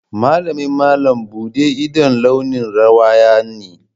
Malamin malam buɗe ido launin rawaya ne.